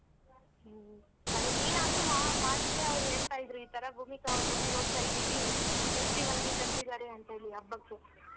ಹ್ಮ್ ಸರಿ ನೀನಾದ್ರೂ ಮಾ~ ಮಾಡಿದ್ರೆ ಅವ್ರು ಹೇಳ್ತ ಇದ್ರು ಈತರ ಭೂಮಿಕಾ ಅವ್ರ್ ಮನೆಗ್ ಹೋಗ್ತಾ ಇದೀವಿ festival ಗೆ ಕರ್ದಿದ್ದಾರೆ ಅಂತೇಳಿ ಹಬ್ಬಕ್ಕೆ.